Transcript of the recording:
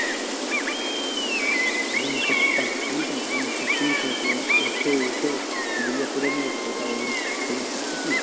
হ্যাঁ সপ্তমের খবর কি বল ওর তো ও তো বিয়ে করে নিয়েছে তা ওর খবর রাখিস না?